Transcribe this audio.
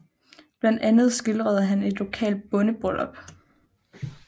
Blandt andet skildrede han et lokalt bondebryllup